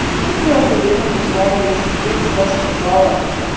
в смысле ахуенно позвали я же тебе вчера сказала